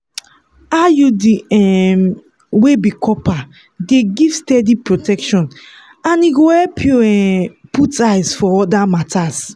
iud um wey be copper dey give steady protection and e go help you um put eyes for other matters